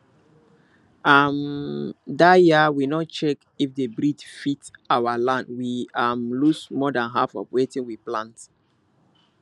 um that year we no check if the breed fit our land we um lose more than half of wetin we plant